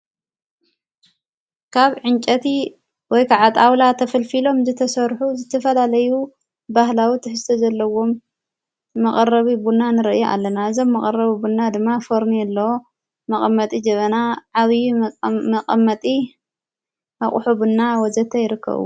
ካብ ዕንጨቲ ወይ ከዓጥ ኣውላ ተፍልፊሎም ዝተሠርኁ ዝትፈላለዩ ባህላዊ ትሕስተ ዘለዎም መቐረቢ ቡና ንርኢ ኣለና እዘብ መቐረቢ ቡና ድማ ፈርኔ ኣለ መቐመጢ ጅበና ዓብዪ መቐመጢ ኣቝሑ ብና ወዘተ ኣይርከዉ።